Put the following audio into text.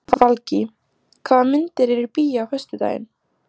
Valgý, hvaða myndir eru í bíó á föstudaginn?